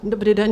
Dobrý den.